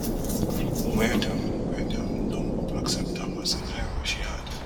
wia dem wia dem don accept am as an error she add